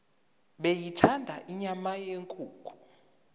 beyithanda inyama yenkukhu